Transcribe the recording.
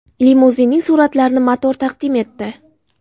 Limuzinning suratlarini Motor taqdim etdi .